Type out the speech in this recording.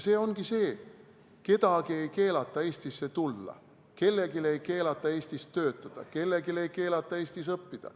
Kellelgi ei keelata Eestisse tulla, kellelgi ei keelata Eestis töötada, kellelgi ei keelata Eestis õppida.